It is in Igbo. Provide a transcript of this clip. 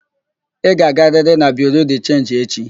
Ị ga-agarịrị na Biriu de Chenji echi!